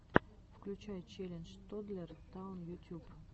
включай челлендж тоддлер таун ютюб